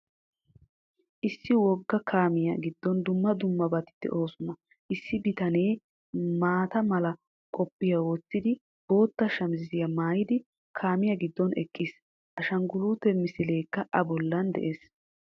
Issi wogga kaamiya giddon dumma dummabati de'oosona. Issi bitanee maata mala qophiya wottidi, bootta shamiziyaa maayidi kaamiya giddon eqqiis. Ashangguulute misilekka A bollan de'ees.